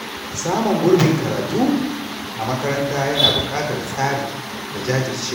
Samun gurbin karatu a makaranta yana buƙatar tsari da jajircewa.